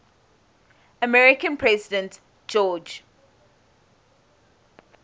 american president george